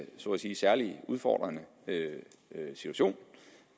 så at sige særlig udfordrende situation